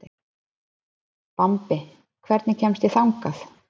Bambi, hvernig kemst ég þangað?